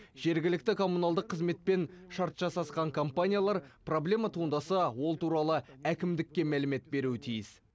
жергілікті коммуналдық қызметпен шарт жасасқан компаниялар проблема туындаса ол туралы әкімдікке мәлімет беруі тиіс